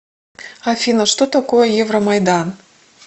афина что такое евромайдан